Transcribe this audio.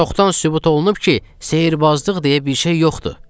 Çoxdan sübut olunub ki, sehrbazlıq deyə bir şey yoxdur.